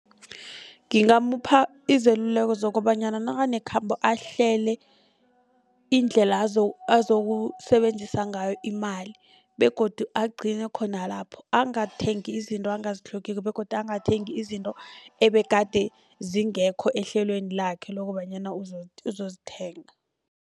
Ngingamupha izeluleko zokobanyana nakanekhambo ahlele indlela azokusebenzisa ngayo imali begodu agcine khona lapho angathengi izinto angazitlhogiko begodu angathengi izinto ebegade zingekho ehlelweni lakhe lokobanyana uzozithenga.